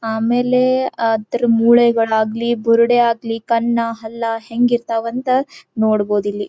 ಆಮೇಲೆ ಅದ್ರ ಮೂಲೆಗಳಾಗಲಿ ಬುರಡೆ ಆಗಲಿ ಕಣ್ಣ್ ಹಲ್ಲ ಹೆಂಗ ಇರತ್ತವ ಅಂತ ನೋಡಬಹುದ್ ಇಲ್ಲಿ.